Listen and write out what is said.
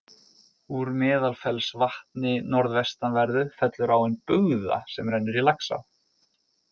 Úr Meðalfellsvatni norðvestanverðu fellur áin Bugða sem rennur í Laxá.